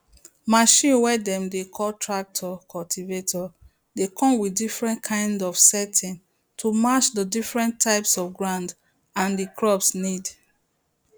machine way dem dey call tractor cultivator dey come with different kind of setting to match the different type of ground and the crop need